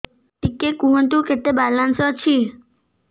ଟିକେ କୁହନ୍ତୁ କେତେ ବାଲାନ୍ସ ଅଛି